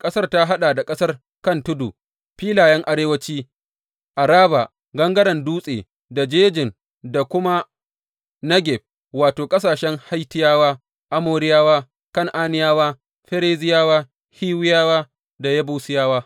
Ƙasar ta haɗa da ƙasar kan tudu, filayen arewanci, Araba, gangaren Dutse, da jejin, da kuma Negeb, wato, ƙasashen Hittiyawa, Amoriyawa, Kan’aniyawa, Ferizziyawa, Hiwiyawa, da Yebusiyawa.